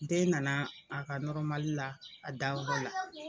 Den nana a ka nɔrɔmali la a da yɔrɔ la.